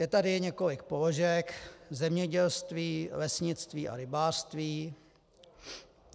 Je tady několik položek: zemědělství, lesnictví a rybářství.